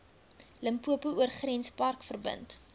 limpopo oorgrenspark verbind